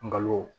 Nkalon